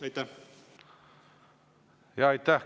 Aitäh!